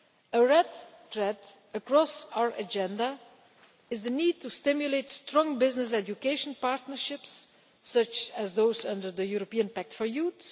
A red thread across our Agenda is the need to stimulate strong business education partnerships, such as those under the European Pact for Youth.